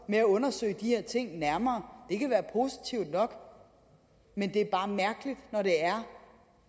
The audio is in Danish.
med at undersøge de her ting nærmere det kan jo være positivt nok men det er bare mærkeligt når det er